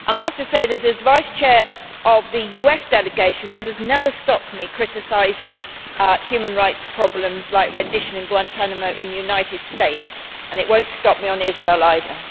I have to say, as Vice Chair of the US delegation, that has never stopped me criticising human rights problems like rendition in Guantánamo in the United States and it will not stop me on Israel either.